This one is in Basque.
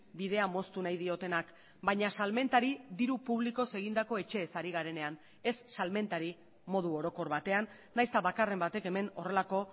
bidea moztu nahi diotenak baina salmentari diru publikoz egindako etxeez ari garenean ez salmentari modu orokor batean nahiz eta bakarren batek hemen horrelako